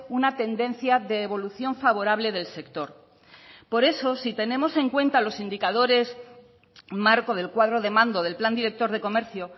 una tendencia de evolución favorable del sector por eso si tenemos en cuenta los indicadores marco del cuadro de mando del plan director de comercio